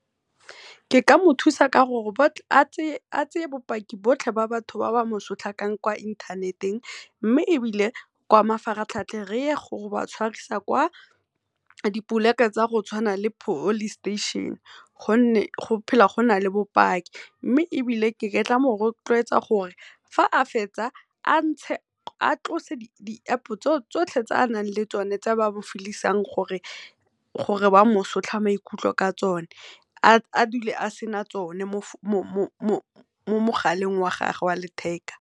Ke ka mo thusa ka gore a tseye bopaki botlhe ba batho ba ba mosotlakang kwa inthaneteng, mme ebile kwa mafaratlhatlheng re ye go ba tshwarisa kwa di poleke tsa go tshwana le police station gonne go phela go na le bopaki. Mme ebile nka mo rotloetsa gore fa a fetsa a ntshe, a tlose di-App tse tsotlhe tse a nang le tsone tse ba mo feel-isang gore ba mo sotla maikutlo ka tsone a dule a sena tsone mo mogaleng wa gage wa letheka.